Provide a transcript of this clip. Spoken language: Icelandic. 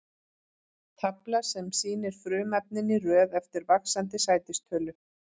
Tafla sem sýnir frumefnin í röð eftir vaxandi sætistölu.